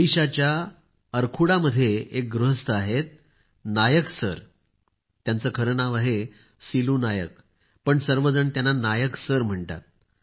ओडिशाच्या अरखुडा मध्ये एक गृहस्थ आहेत नायक सर । त्याचे खरे नाव आहे सिलू नायक पण सर्वजण त्यांना नायक सर म्हणतात